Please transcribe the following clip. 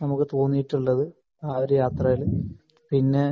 നമുക്ക് തോന്നിയിട്ടുള്ളത് ആ യാത്രയിൽ പിന്നെ